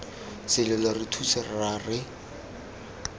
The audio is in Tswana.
selelo re thuse rra re